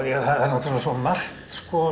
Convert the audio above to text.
svo margt